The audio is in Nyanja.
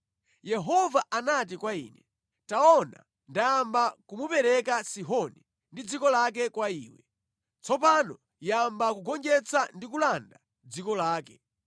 Yehova anati kwa ine, “Taona ndayamba kumupereka Sihoni ndi dziko lake kwa iwe. Tsopano yamba kugonjetsa ndi kulanda dziko lake.”